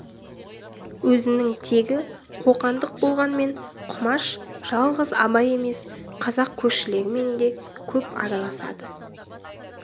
өзінің тегі қоқандық болғанмен құмаш жалғыз абай емес қазақ көршілерімен де көп араласады